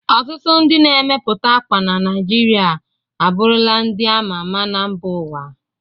Ọtụtụ ndị na-emepụta akwa na Naijiria abụrụla ndị a ma ama na mba ụwa.